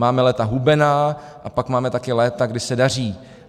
Máme léta hubená a pak máme také léta, kdy se daří.